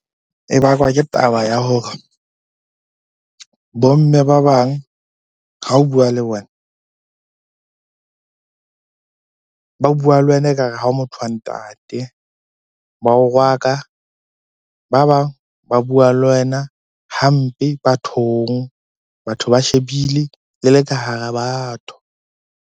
E bakwa ke taba ya hore bo mme ba bang ha o bua le bona, ba bua le wena ekare ha motho wa ntate. Ba o rwaka, ba bang ba bua le wena hampe bathong. Batho ba shebile le le ka hara batho.